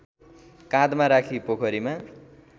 काँधमा राखी पोखरीमा